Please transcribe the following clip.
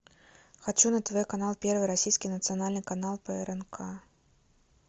хочу на тв канал первый российский национальный канал прнк